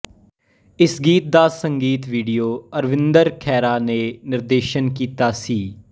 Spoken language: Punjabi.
ਇਸ ਗੀਤ ਦਾ ਸੰਗੀਤ ਵੀਡੀਓ ਅਰਵਿੰਦਰ ਖਹਿਰਾ ਨੇ ਨਿਰਦੇਸ਼ਨ ਕੀਤਾ ਸੀ